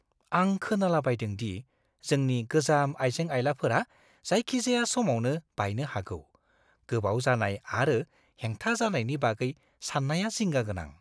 आं खोनालाबायदों दि जोंनि गोजाम आइजें-आइलाफोरा जायखिजाया समावनो बायनो हागौ। गोबाव जानाय आरो हेंथा जानायनि बागै साननाया जिंगा गोनां।